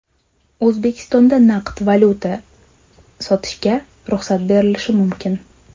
O‘zbekistonda naqd valyuta sotishga ruxsat berilishi mumkin.